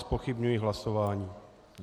Zpochybňuji hlasování.